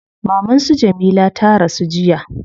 Maman su Jamila ta rasu jiya